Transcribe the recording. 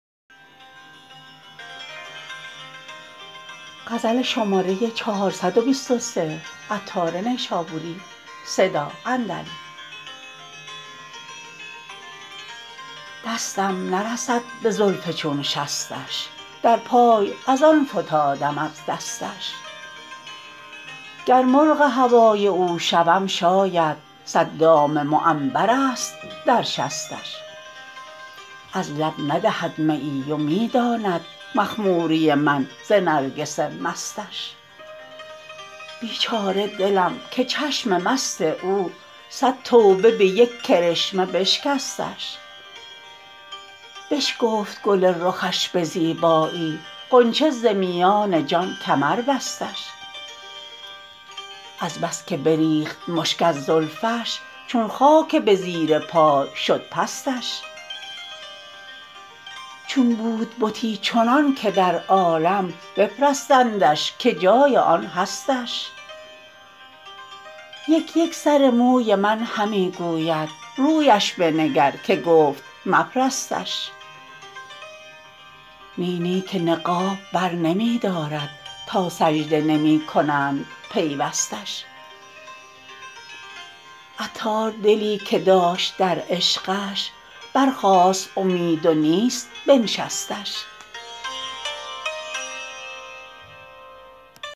دستم نرسد به زلف چون شستش در پای از آن فتادم از دستش گر مرغ هوای او شوم شاید صد دام معنبر است در شستش از لب ندهد میی و می داند مخموری من ز نرگس مستش بیچاره دلم که چشم مست او صد توبه به یک کرشمه بشکستش بشکفت گل رخش به زیبایی غنچه ز میان جان کمر بستش از بس که بریخت مشک از زلفش چون خاک به زیر پای شد پستش چون بود بتی چنان که در عالم بپرستندش که جای آن هستش یک یک سر موی من همی گوید رویش بنگر که گفت مپرستش نی نی که نقاب بر نمی دارد تا سجده نمی کنند پیوستش عطار دلی که داشت در عشقش برخاست اومید و نیست بنشستش